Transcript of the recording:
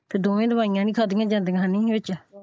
ਦੋਵੇ ਦਵਾਈਆਂ ਨਹੀਂ ਖਾਦੀਆਂ ਜਾਂਦੀਆਂ ਵਿੱਚ।